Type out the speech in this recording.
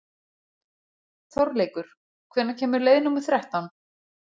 Þorleikur, hvenær kemur leið númer þrettán?